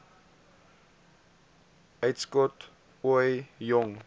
uitskot ooie jong